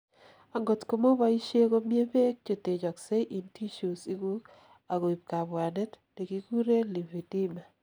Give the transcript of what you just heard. angot komo boisie komiebeek chetechoksei in tissues iguk ak koib kabwanet, nekikuren lymphedema